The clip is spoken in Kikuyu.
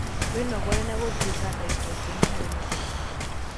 Wĩnogore na gũthiĩ ta ndagĩka ikũmi harĩ mũthenya